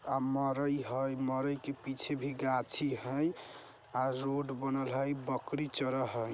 अमराई हई मराई के पीछे भी गाछी हई अ रोड बनल हई बकरी चारा हई।